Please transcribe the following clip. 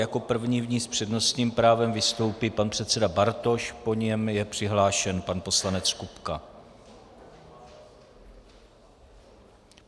Jako první v ní s přednostním právem vystoupí pan předseda Bartoš, po něm je přihlášen pan poslanec Kupka.